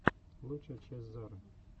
лучшая часть зары